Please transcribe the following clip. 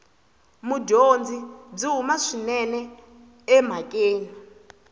mudyondzi byi huma swinene emhakeni